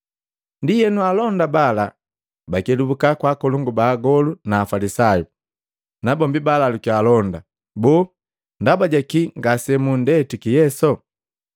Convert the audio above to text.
Ndienu alonda bala bakelubuka kwa akolongu ba agolu na Afalisayu. Nabombi balalukiya alonda, “Boo, ndaba ja kii ngasemundetiki Yesu?”